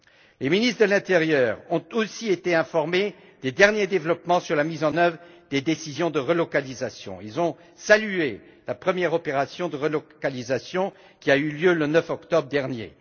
Les ministres de l'intérieur ont aussi été informés des derniers développements sur la mise en œuvre des décisions de relocalisation et ont salué la première opération de relocalisation qui a eu lieu le 9 octobre dernier.